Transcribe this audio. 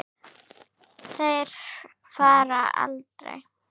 Þær fara aldrei.